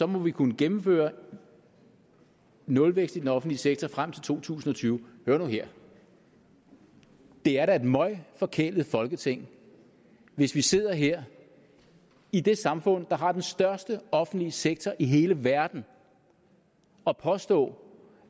må vi kunne gennemføre nulvækst i den offentlige sektor frem til to tusind og tyve hør nu her det er da et møgforkælet folketing hvis vi sidder her i det samfund der har den største offentlige sektor i hele verden og påstår